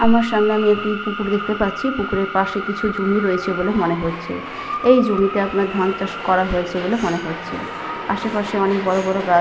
আমার সামনে আমি একটি পুকুর দেখতে পাচ্ছি। পুকুরের পাশে কিছু জমি রয়েছে বলে মনে হচ্ছে। এই জমিতে আপনার ধান চাষ করা হয়েছে বলে মনে হচ্ছে। আসেপাশে অনেক বড় বড় গাছ --